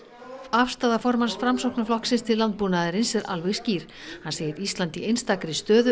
afstaða formanns Framsóknarflokksins til landbúnaðarins er alveg skýr hann segir Ísland í einstakri stöðu